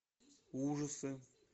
ужасы